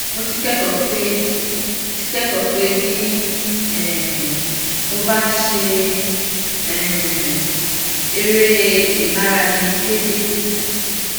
mo ti kékòó pé ti kékòó pé bí um mo bá ń ṣe um eré ìmárale déédéé